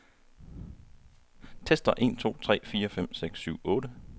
Tester en to tre fire fem seks syv otte.